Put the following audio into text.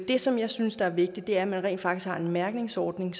det som jeg synes er vigtigt er at man rent faktisk har en mærkningsordning